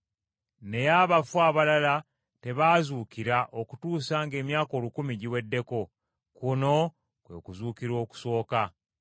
Naye abafu abalala tebaazuukira okutuusa ng’emyaka olukumi giweddeko. Kuno kwe kuzuukira okusooka.